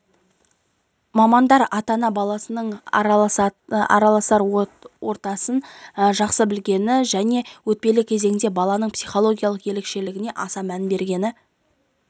мамандар ата-ана баласының араласар ортасын жақсы білгені және өтпелі кезеңде баланың психологиялық ерекшелігіне аса мән бергені